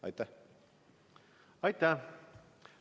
Aitäh!